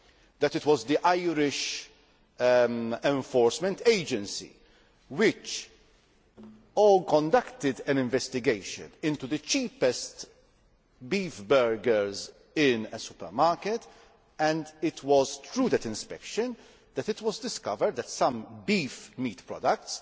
that it was the Irish enforcement agency which conducted an investigation into the cheapest beef burgers in a supermarket, and it was through that inspection that it was discovered that some beef products